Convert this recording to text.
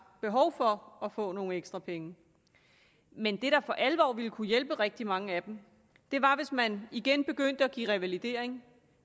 behov for at få nogle ekstra penge men det der for alvor ville kunne hjælpe rigtig mange af dem var hvis man igen begyndte at give revalidering